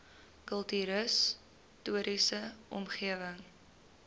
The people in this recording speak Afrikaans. kultuurhis toriese omgewing